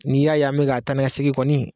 N'i y'a me k'a taa ni ka segin kɔni